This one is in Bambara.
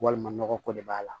Walima nɔgɔ ko de b'a la